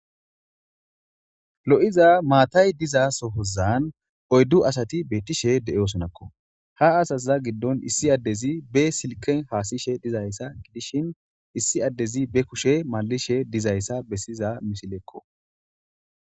Loi'a maatay diza sohozan oyddu asati beettishe de'eosonakko ha asaza giddon issi addezi be silken haasishe dizayssa gidishin issi addezi be kushe malishe dizayssa bessiza misilekko.